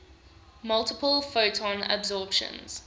multiple photon absorptions